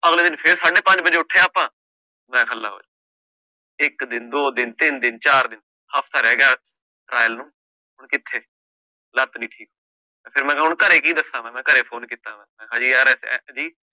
ਅਗਲੇ ਦਿਨ ਫਿਰ ਸਾਢੇ ਪੰਜ ਵਜੇ ਉੱਠੇ ਆਪਾਂ ਮੈਂ ਕਿਹਾ ਲਓ ਇੱਕ ਦਿਨ, ਦੋ ਦਿਨ, ਤਿੰਨ ਦਿਨ, ਚਾਰ ਦਿਨ ਹਫ਼ਤਾ ਰਹਿ ਗਿਆ trial ਨੂੰ ਕਿੱਥੇ ਲੱਤ ਨੀ ਠੀਕ ਤੇ ਫਿਰ ਮੈਂ ਹੁਣ ਘਰੇ ਕੀ ਦੱਸਾਂ ਮੈਂ ਘਰੇ phone ਕੀਤਾ